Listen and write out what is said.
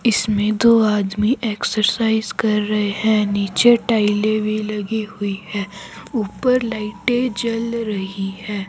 इसमे दो आदमी एक्सरसाइज कर रहे है। नीचे टाइले भी लगी हुई है। ऊपर लाइटे जल रही है।